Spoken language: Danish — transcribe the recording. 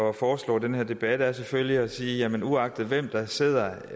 at foreslå den her debat er selvfølgelig at sige at uagtet hvem der sidder